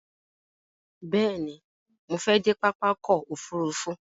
Bẹ̀ẹ̀ni, mo fẹ dé pápá ọkò òfurufú.